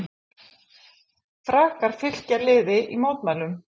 Frakkar fylkja liði í mótmælum